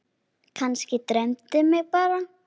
Kannski dreymdi mig bara.